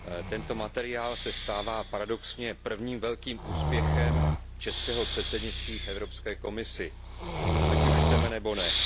Tento materiál se stává paradoxně prvním velkým úspěchem českého předsednictví v Evropské komisi, ať už chceme, nebo ne.